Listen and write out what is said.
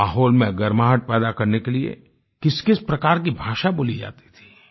माहौल में गर्माहट पैदा करने के लिए किसकिस प्रकार की भाषा बोली जाती थी